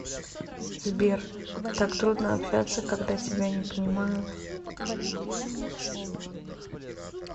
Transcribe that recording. сбер так трудно общаться когда тебя не понимают